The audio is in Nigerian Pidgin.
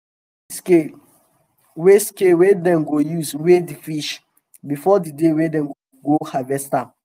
dem must arrange d scale wey scale wey dem go use weigh d fish well before d day wey dem go harvest am.